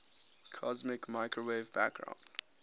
cosmic microwave background